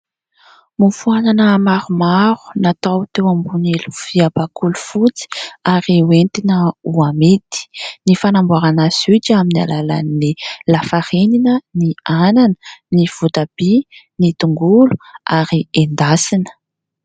Mofo anana maromaro natao teo ambony lovia bakoly fotsy ary hoentina ho amidy. Ny fanamboarana azy io dia amin'ny alalan'ny lafarinina, ny anana, ny votabia, ny tongolo ary endasina.